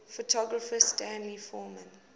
photographer stanley forman